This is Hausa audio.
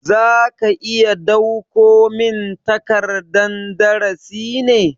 Za ka iya dauko min takardan darasi ne?